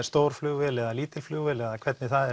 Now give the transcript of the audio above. stór flugvél eða lítil flugvél eða hvernig það